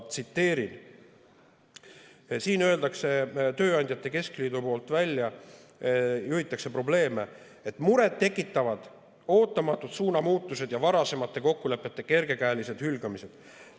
Tööandjate keskliit ütleb välja ja juhib probleemile: "Muret tekitavad ootamatud suunamuutused ja varasemate kokkulepete kergekäelised hülgamised.